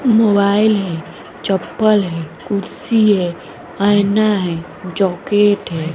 Mobile है चप्पल है कुर्सी है ऐना है जाेकेट है।